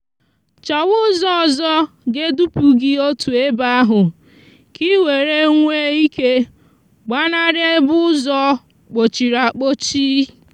chòwa úzò òzò ga eduputa gi otu ebe ahu ka iwere nwee ike gbanari ebe úzò kpochiriakpochi